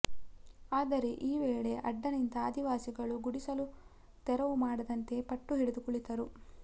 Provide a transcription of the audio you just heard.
ಆದರೆ ಈ ವೇಳೆ ಅಡ್ಡ ನಿಂತ ಆದಿವಾಸಿಗಳು ಗುಡಿಸಲು ತೆರವು ಮಾಡದಂತೆ ಪಟ್ಟು ಹಿಡಿದು ಕುಳಿತರು